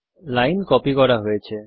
line copy করা হয়েছে